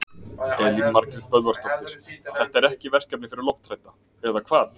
Elín Margrét Böðvarsdóttir: Þetta er ekki verkefni fyrir lofthrædda, eða hvað?